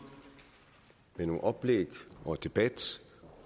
med nogle oplæg og debat